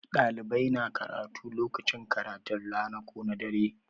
Ɗalibai na karatu lokacin karatun rana ko na dare.